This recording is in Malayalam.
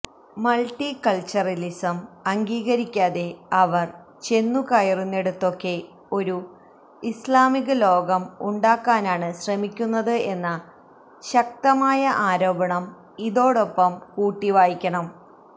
മൾട്ടികൾച്ചറലിസം അംഗീകരിക്കാതെ അവർ ചെന്നുകയറുന്നിടത്തൊക്കെ ഒരു ഇസ്ലാമിക ലോകം ഉണ്ടാക്കാനാണ് ശ്രമിക്കുന്നത്എന്ന ശക്തമായ ആരോപണം ഇതോടൊപ്പം കൂട്ടിവായിക്കണം